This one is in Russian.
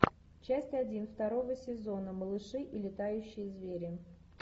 часть один второго сезона малыши и летающие звери